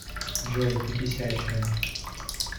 джой ты бесячая